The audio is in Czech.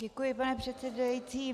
Děkuji, pane předsedající.